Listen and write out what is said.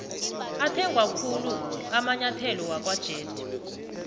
athengwakhulu amainyetholo wakwajedu